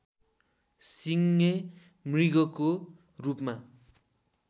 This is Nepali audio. सिङे मृगको रूपमा